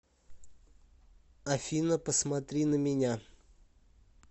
афина посмотри на меня